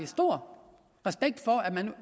stor respekt for at man